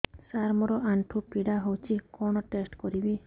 ସାର ମୋର ଆଣ୍ଠୁ ପୀଡା ହଉଚି କଣ ଟେଷ୍ଟ କରିବି